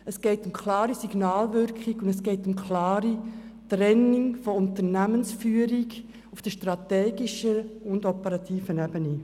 Es geht um eine klare Signalwirkung, und es geht um eine klare Trennung der Unternehmensführung auf der strategischen und auf der operativen Ebene.